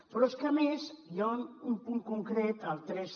però és que a més hi ha un punt concret el tres